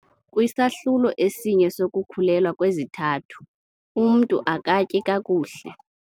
Kwisahlulo esinye sokukhulelwa kwezithathu, umntu akatyi kakuhle.